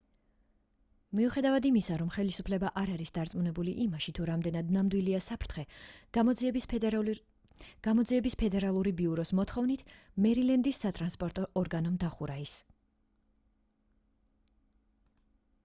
მიუხედავად იმისა რომ ხელისუფლება არ არის დარწმუნებული იმაში თუ რამდენად ნამდვილია საფრთხე გამოძიების ფედერალური ბიუროს მოთხოვნით მერილენდის სატრანსპორტო ორგანომ დახურა ის